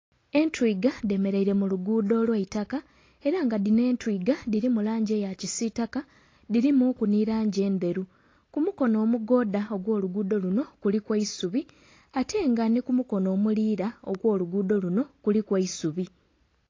Entwiga dhemereire mu luguudo olweitaka era nga dhino entwiga dhirimu langi eya kisitaka dhirimu ku nhi langi endheru, ku mukonho omugodha ogwo luguudo lunho kuliku eisubi ate nga nhi ku mukonho omulira okwo luguudo lunho kuliku eisubi.